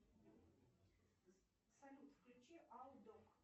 салют включи аудок